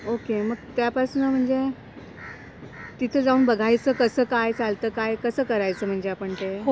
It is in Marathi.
ओके मग त्या पासनं म्हणजे, तिथे जाऊन बघायचं कसं काय चालतं काय कसं करायचं म्हणजे आपण ते?